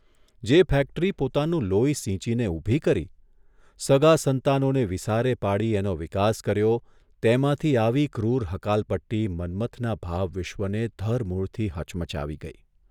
જે ફેક્ટરી પોતાનું લોહી સીંચીને ઊભી કરી, સગાં સંતાનોને વિસારે પાડી એનો વિકાસ કર્યો તેમાંથી આવી ક્રૂર હકાલપટ્ટી મન્મથના ભાવવિશ્વને ધરમૂળથી હચમચાવી ગઇ.